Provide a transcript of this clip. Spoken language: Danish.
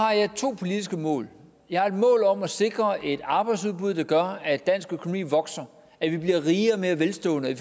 to politiske mål jeg har et mål om at sikre et arbejdsudbud der gør at dansk økonomi vokser at vi bliver rigere og mere velstående